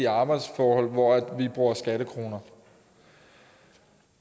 arbejdsforhold hvor vi bruger skattekroner